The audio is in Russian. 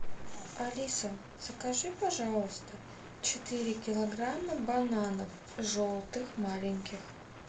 алиса закажи пожалуйста четыре килограмма бананов желтых маленьких